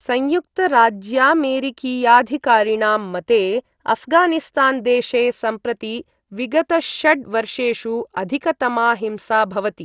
संयुक्तराज्यामेरिकीयाधिकारिणां मते अफगानिस्तान् देशे सम्प्रति विगतषड् वर्षेषु अधिकतमा हिंसा भवति।